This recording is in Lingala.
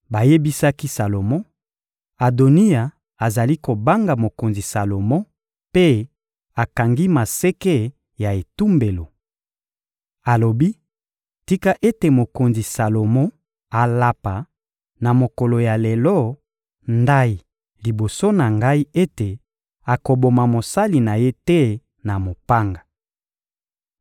Bayebisaki Salomo: — Adoniya azali kobanga mokonzi Salomo mpe akangi maseke ya etumbelo. Alobi: «Tika ete mokonzi Salomo alapa, na mokolo ya lelo, ndayi liboso na ngai ete akoboma mosali na ye te na mopanga.»